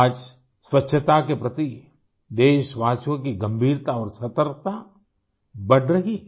आज स्वच्छता के प्रति देशवासियों की गंभीरता और सतर्कता बढ़ रही है